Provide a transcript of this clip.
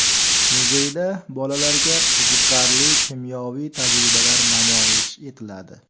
Muzeyda bolalarga qiziqarli kimyoviy tajribalar namoyish etiladi.